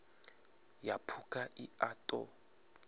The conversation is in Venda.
ya phukha i a ṱo